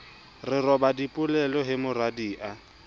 re roba dipelo he moradia